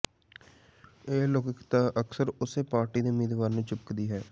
ਇਹ ਅਲੋਕਿਕਤਾ ਅਕਸਰ ਉਸੇ ਪਾਰਟੀ ਦੇ ਉਮੀਦਵਾਰ ਨੂੰ ਚਿਪਕਦੀ ਹੈ